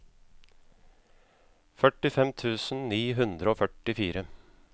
førtifem tusen ni hundre og førtifire